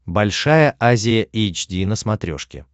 большая азия эйч ди на смотрешке